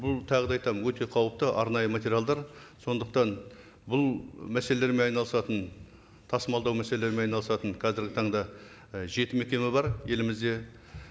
бұл тағы да айтамын өте қауіпті арнайы материалдар сондықтан бұл мәселелермен айналысатын тасымалдау мәселелерімен айналысатын қазіргі таңда і жеті мекеме бар елімізде